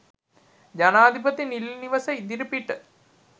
ජනාධිපති නිල නිවස ඉදිරිපිට